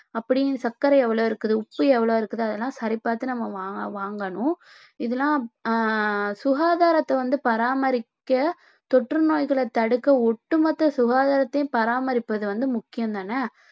அப்படி சர்க்கரை எவ்வளவு இருக்குது உப்பு எவ்வளவு இருக்குது அதெல்லாம் சரிபார்த்து நம்ம வாங்க~ வாங்கணும் இதெல்லாம் ஆஹ் சுகாதாரத்தை வந்து பராமரிக்க தொற்று நோய்களை தடுக்க ஒட்டுமொத்த சுகாதாரத்தையும் பராமரிப்பது வந்து முக்கியம் தானே